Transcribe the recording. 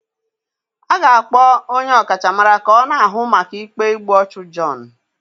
A ga-akpọ onye ọkachamara ka ọ na-ahụ maka ikpe igbu ọchụ John